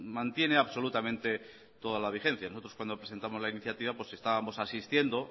mantiene absolutamente toda la vigencia nosotros cuando presentamos la iniciativa estábamos asistiendo